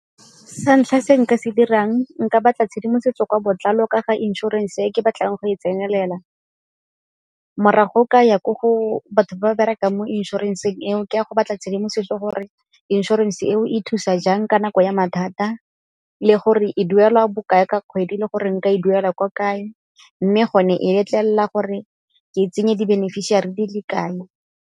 Sa ntlha se nka se dirang, nka batla tshedimosetso ka botlalo ka ga inšorense e ke batlang go e tsenelela morago ka ya ko go batho ba berekang mo inšorenseng eo go a go batla tshedimosetso gore inšorense eo e thusa jang ka nako ya mathata, le gore e duelwa bokae ka kgwedi le gore nka e duela kwa kae mme gone e letlelela gore ke tsenye di-beneficiary di le kae.